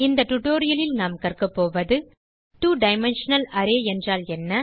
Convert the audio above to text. இந்த டியூட்டோரியல் லில் நாம் கற்கப் போவது 2டைமென்ஷனல் அரே என்றால் என்ன